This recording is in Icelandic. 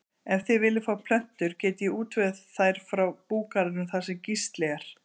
Ef þér viljið fá plöntur get ég útvegað þær frá búgarðinum þar sem Gísli er.